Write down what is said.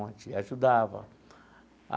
ajudava.